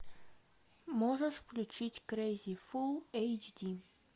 можешь включить крейзи фул эйч ди